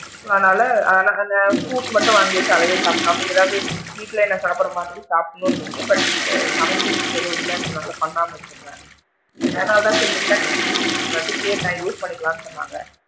அதனால அதனால அந்த fruits மட்டும் வாங்கி வச்சி அதவே சாப்டுட்டு நமக்கு ஏதாவது வீட்ல ஏதாவது சாப்பிடுற மாதிரி சாப்பிடனும் but சமைக்கிறதுக்கு எதுவும் இல்லங்க்ரனால பண்ணாம இருந்திடுறேன் so அதனால தான் induction வந்து கேட்டேன் use பண்ணிக்கலாமுன்னு சொன்னாங்க.